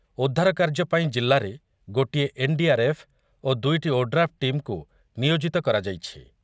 ଉଦ୍ଧାରକାର୍ଯ୍ୟ ପାଇଁ ଜିଲ୍ଲାରେ ଗୋଟିଏ ଏନ୍‌ଡିଆର୍‌ଏଫ୍‌ ଓ ଦୁଇଟି ଓଡ୍ରାଫ୍‌ ଟିମକୁ ନିୟୋଜିତ କରାଯାଇଛି।